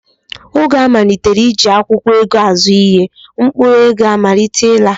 Oge a malitere iji akwụkwọ ego azụ ihe, mkpụrụ ego amalite ịla